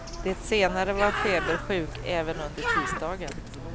Det senare var febersjuk även under tisdagen.